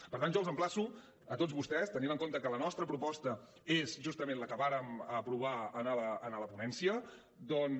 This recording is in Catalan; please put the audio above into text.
per tant jo els emplaço a tots vostès tenint en compte que la nostra proposta és justament la que vàrem aprovar en la ponència doncs